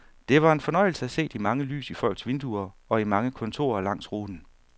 Det var en fornøjelse at se de mange lys i folks vinduer og i mange kontorer langs ruten.